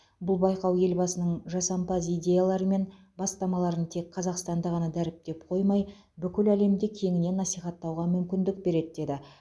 бұл байқау елбасының жасампаз идеялары мен бастамаларын тек қазақстанда ғана дәріптеп қоймай бүкіл әлемде кеңінен насихаттауға мүмкіндік береді деді